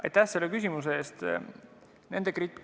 Aitäh selle küsimuse eest!